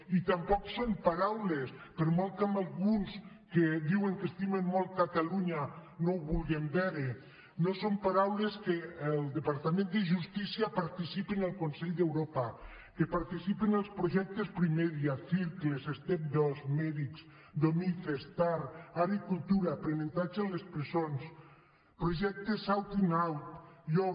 i tampoc són paraules per molt que alguns que diuen que estimen molt catalunya no ho vulguen veure que el departament de justícia participi en el consell d’europa que participi en els projectes primedia circles step dos medics domice starr art i cultura aprenentatge en les presons als projectes outinout yo